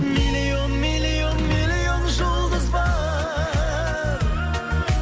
миллион миллион миллион жұлдыз бар